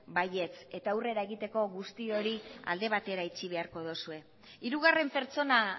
baietz eta aurrera egiteko guzti hori alde batera itxi beharko dozue hirugarren pertsona